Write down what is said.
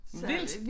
Vildt